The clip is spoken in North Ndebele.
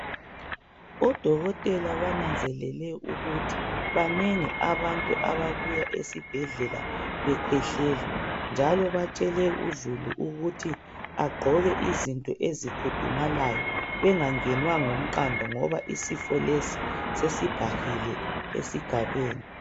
Odokotela bananzelele ukuthi, banengi abantu ababuya esibhedlela bekhwehlela, njalo batshele uzulu ukuthi agqoke izinto ezikhudumalayo bengangenwa ngumqando ngoba isifo lesi sesibhahile esigabeni.